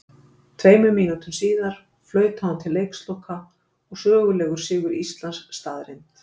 Tveimur mínútum síðar flautaði hún til leiksloka og sögulegur sigur Íslands staðreynd.